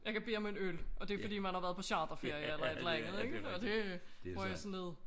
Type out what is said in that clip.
Jeg kan bede om en øl og det er fordi man har været på charterferie eller et eller andet og det bruger jeg til nød